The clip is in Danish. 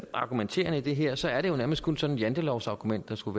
argumenterende i det her så er det jo nærmest kun sådan et jantelovsargument der skulle